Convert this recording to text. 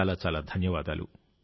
చాలా చాలా ధన్యవాదాలు